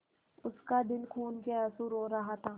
उसका दिल खून केआँसू रो रहा था